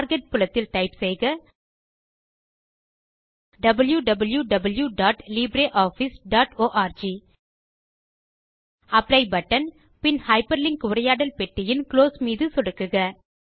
target புலத்தில் type செய்க wwwlibreofficeorg apply button பின் ஹைப்பர்லிங்க் உரையாடல் பெட்டியின் குளோஸ் பட்டன் மீதும் சொடுக்குக